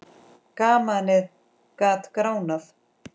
Gamanið gat gránað.